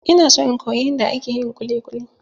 Ina so in koyi yanda ake yin kuli kuli.